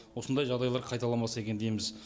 осындай жағдайлар қайталанбаса екен дейміз